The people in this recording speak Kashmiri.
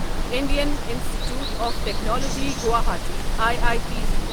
Indian institute of technology Guwahati I I T G